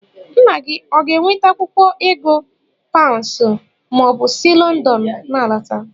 Nna gị ọ ga-eweta akwụkwọ ego paụnsụ ma o si Lọndọn n'alọta?